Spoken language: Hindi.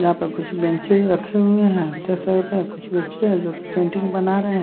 यहां पे कुछ बेंचेज रखे हुए हैं देख सकते है कुछ बच्चे है जोकि पेंटिंग बना रहे--